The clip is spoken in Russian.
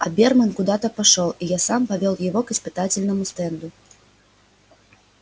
оберман куда-то пошёл и я сам повёл его к испытательному стенду